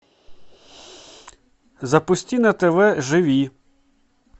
запусти на тв живи